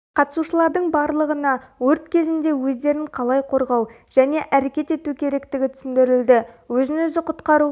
қатысушылардың барлығына өрт кезінде өздерін қалай қорғау және әрекет ету керектігі түсіндірілді өзін өзі құтқару